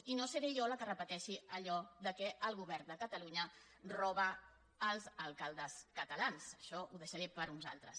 i no seré jo la que repeteixi allò que el govern de catalu·nya roba als alcaldes catalans això ho deixaré per a uns altres